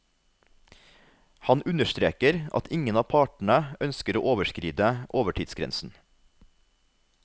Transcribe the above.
Han understreker at ingen av partene ønsker å overskride overtidsgrensen.